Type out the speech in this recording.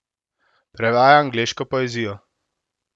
Prevaja angleško poezijo.